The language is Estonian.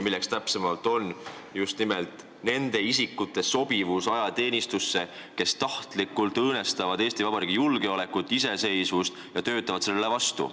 Probleem on täpsemalt nende isikute sobivuses ajateenistusse, kes tahtlikult õõnestavad Eesti Vabariigi julgeolekut, iseseisvust ja töötavad sellele vastu.